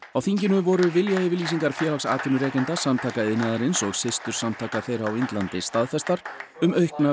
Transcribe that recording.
á þinginu voru viljayfirlýsingar Félags atvinnurekenda Samtaka iðnaðarins og systursamtaka þeirra á Indlandi staðfestar um aukna